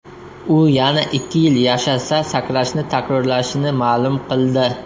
U yana ikki yil yashasa, sakrashni takrorlashini ma’lum qildi.